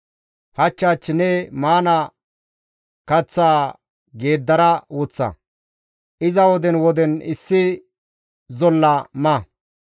Hach hach ne maana kaththaa geeddara woththa; iza woden woden issi zolla ma.